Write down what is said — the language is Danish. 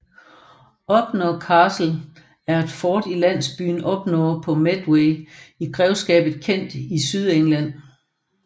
Upnor Castle er et fort i landsbyen Upnor ved Medway i grevskabet Kent i Sydengland